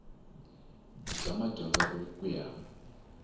i bya madyondza ku ya